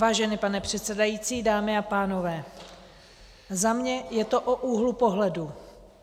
Vážený pane předsedající, dámy a pánové, za mě je to o úhlu pohledu.